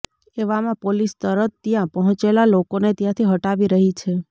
એવામાં પોલીસ તરત ત્યાં પહોંચેલા લોકોને ત્યાંથી હટાવી રહી છે